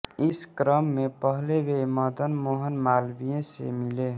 इस क्रम में पहले वे मदनमोहन मालवीय से मिले